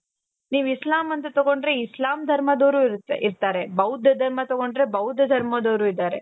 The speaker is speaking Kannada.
ನೀವು ಇಸ್ಲಾಂ ಅಂತ ತಗೊಂಡ್ರೆ ಇಸ್ಲಾಂ ಧರ್ಮದವರು ಇರ್ತಾರೆ ಬೌದ್ಧ ಧರ್ಮ ತಗೊಂಡ್ರೆ ಬೌದ್ಧ ಧರ್ಮದವರು ಇದ್ದಾರೆ.